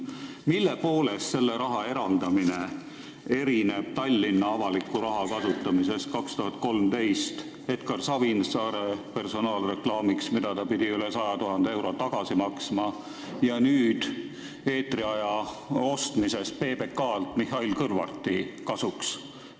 Mille poolest selle raha eraldamine erineb Tallinna avaliku raha kasutamisest 2013. aastal Edgar Savisaare personaalreklaamiks, millest ta pidi üle 100 000 euro tagasi maksma, ja nüüd eetriaja ostmisest PBK-lt Mihhail Kõlvarti kasuks?